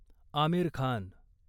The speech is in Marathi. आमिर खान